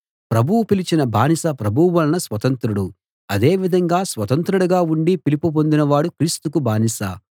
ప్రభువు పిలిచిన బానిస ప్రభువు వలన స్వతంత్రుడు అదే విధంగా స్వతంత్రుడుగా ఉండి పిలుపు పొందిన వాడు క్రీస్తుకు బానిస